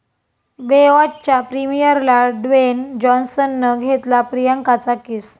बेवाॅच'च्या प्रीमियरला ड्वेन जाॅन्सननं घेतला प्रियांकाचा किस